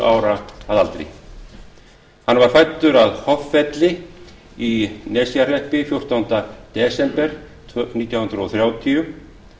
ára að aldri hann var fæddur að hoffelli í nesjahreppi fjórtánda des nítján hundruð þrjátíu